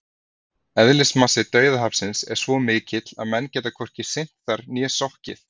Eðlismassi Dauðahafsins er það mikill að menn geta hvorki synt þar né sokkið!